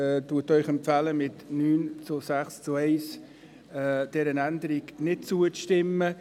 Die Kommissionsmehrheit empfiehlt Ihnen mit 9 zu 6 zu 1 dieser Änderung nicht zuzustimmen.